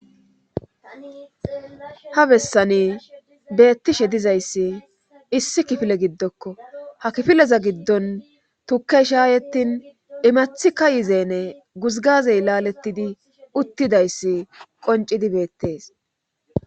ha bessani beettishe dizayssi issi kifile giddokko ha kifileza giddon tukkey shaayetin imathika yizeene guzgazey laalettidi uttidayssi qoncidi beettees